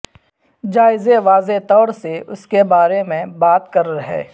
جائزے واضح طور سے اس کے بارے میں بات کر رہے